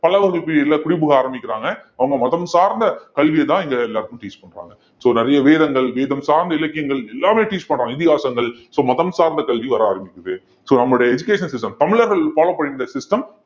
பல்லவர்கள் period ல குடி புக ஆரம்பிக்கிறாங்க அவங்க மதம் சார்ந்த கல்வியைதான் இங்க எல்லாருக்கும் teach பண்றாங்க so நிறைய வேதங்கள் வேதம் சார்ந்த இலக்கியங்கள் எல்லாமே teach பண்றாங்க இதிகாசங்கள் so மதம்சார்ந்த கல்வி வர ஆரம்பிக்குது so நம்மளுடைய education system தமிழர்கள் follow பண்ணிட்டு இருந்த system